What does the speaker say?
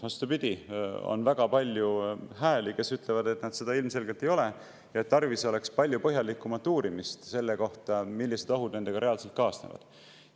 Vastupidi, on väga palju hääli, kes ütlevad, et nad seda ilmselgelt ei ole ja oleks tarvis palju põhjalikumat uurimist selle kohta, millised ohud nendega reaalselt kaasnevad.